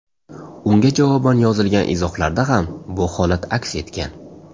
Unga javoban yozilgan izohlarda ham bu holat aks etgan.